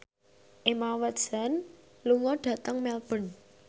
Emma Watson lunga dhateng Melbourne